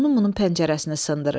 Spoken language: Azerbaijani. Onun bunun pəncərəsini sındırır.